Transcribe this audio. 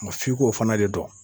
f'i ko fana de dɔn.